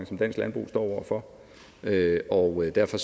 som dansk landbrug står over for og derfor